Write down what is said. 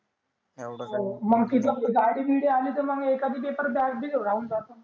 मंग तेथ gadi बिडी